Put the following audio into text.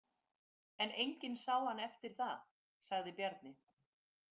En enginn sá hann eftir það, sagði Bjarni.